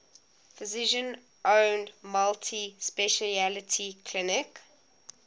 physician owned multi specialty clinic